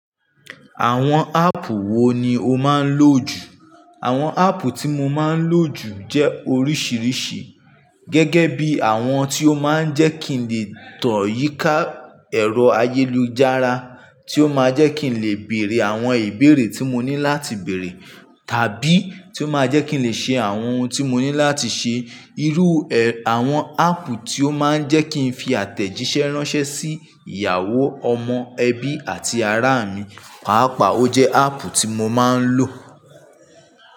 Àwọn áàpù wo ni o máa ń lò jù? Àwọn áàpù tí mo máa ń lò jù jẹ́ oríṣiríṣi gẹ́gẹ́ bí àwọn tí ó máa ń jẹ́ kí n lè tàn yíká ẹ̀rọ ayélujára, tí ó máa ń jẹ́ kí n lè bèèrè àwọn ìbéèrè tí mo ní láti bèèrè, tàbí tí ó máa ń jẹ́ kí n lè ṣe àwọn ohun tí mo ní láti ṣe. Irú, ẹ́, àwọn áàpù tí ó máa ń jẹ́ kí n fi àtẹ̀jíṣẹ́ ránṣẹ́ sí ìyàwó, ọmọ, ẹbí àti ará mi, pàápàá ó jẹ́ áàpù tí mo máa ń lò.